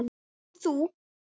Nú mátt þú.